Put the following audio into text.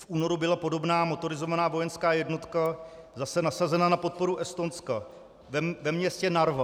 V únoru byla podobná motorizovaná vojenská jednotka zase nasazena na podporu Estonska ve městě Narva.